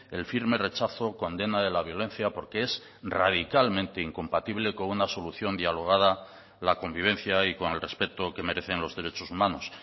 el firme rechazo condena de la violencia porque es radicalmente incompatible con una solución dialogada la convivencia y con el respeto que merecen los derechos humanos